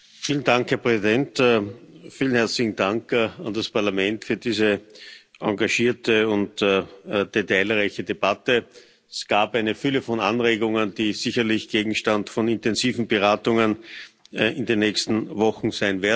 Herr Präsident! Vielen herzlichen Dank an das Parlament für diese engagierte und detailreiche Debatte. Es gab eine Fülle von Anregungen, die sicherlich Gegenstand von intensiven Beratungen in den nächsten Wochen sein werden.